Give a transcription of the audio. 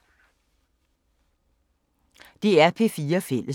DR P4 Fælles